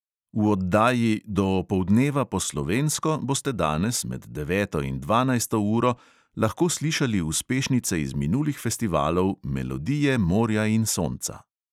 V oddaji do opoldneva po slovensko boste danes med deveto in dvanajsto uro lahko slišali uspešnice iz minulih festivalov melodije morja in sonca.